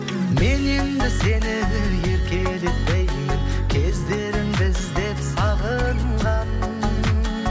мен енді сені еркелетпеймін кездерімді іздеп сағынған